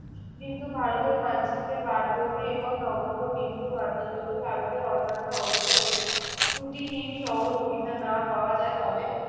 কিন্তু ভারতের মানচিত্রে বারদৌরি এবং নগণ্য বিন্দু মাত্র। যদি ভারতের অন্যান্য অঙ্গ হইতে ত্রুটিহীন সহযোগিতা না পাওয়া যায় তবে